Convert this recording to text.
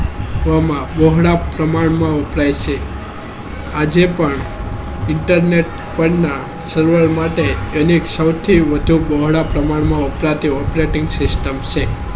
વ માં પહોળા પ્રમાણમાં ઉપલબ્ધ છે આજે પણ internet પન્ના server માટે ઘણું સૌથી મોટા પોહડા પ્રમાણ ને વપરાય છે operating system છે